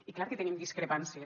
i clar que tenim discrepàncies